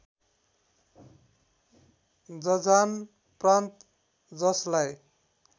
जजान प्रान्त जस्लाई